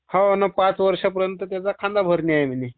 होना पाट वर्षापर्यंत खांदा भरणी ह्याय म्हणे